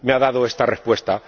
me ha dado esta respuesta.